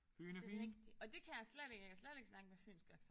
Det er rigtigt. Og det kan jeg slet ikke. Jeg kan slet ikke snakke med fynsk accent